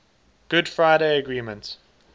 good friday agreement